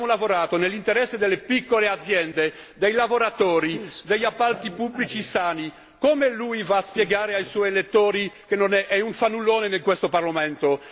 No! Abbiamo lavorato nell'interesse delle piccole aziende, dei lavoratori, degli appalti pubblici sani come intende spiegare ai suoi elettori che è un fannullone in questo Parlamento?